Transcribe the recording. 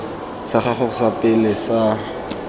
sa gago sa pele sa